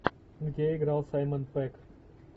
где играл саймон пегг